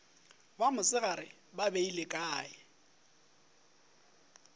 ba mosegare ba beile kae